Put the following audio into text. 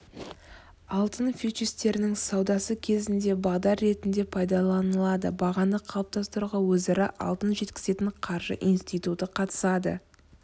алтын фьючерстерінің саудасы кезінде бағдар ретінде пайдаланылады бағаны қалыптастыруға өзара алтын жеткізетін қаржы институты қатысады